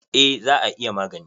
Eh, za a iya magani.